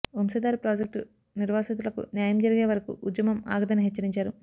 Vamsadhara project నిర్వాసితులకు న్యాయం జరిగే వరకు ఉద్యమం ఆగదని హెచ్చరించారు